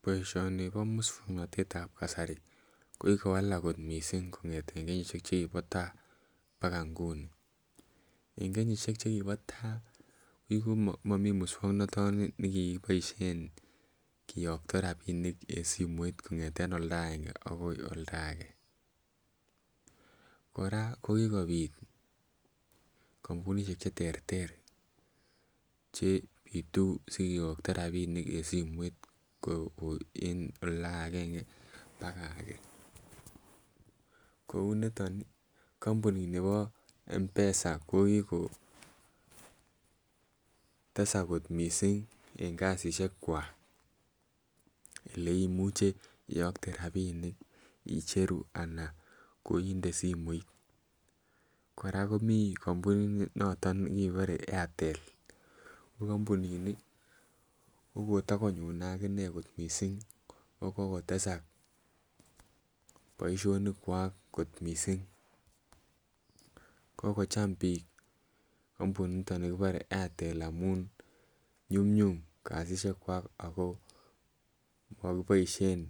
Boisioni ko musyognatetab kasari. Kigowak mising kongete kenyisiek che kibo ta paga nguni. Eng kenyesiek chegibo ta komami musyognatoni ne kikiboisien kiyokto rapinik en simoit kongete olda agenge agoi olda age. Kora ko kigopit kampunisiek cheterter che itu sikiyokto rapinik en simoit kopwa en oldo agenge paga age. Kou nito ni kampuni nibo mpesa ko kiko tesak kot mising eng kasisiek kwak. Ole imuche iyokte rapinik icheru ana koinde simoit. Kora komi kampuninoto nekebore Airtel. Ko kampunini ko kotakonyone akine kot mising, ko kokotesak boisionikwak kot mising. Kokocham biik kampuninitok kipare Airtel amun nyumnyum kasisiekwak ago mokiboisien